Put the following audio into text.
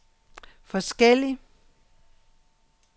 forskellig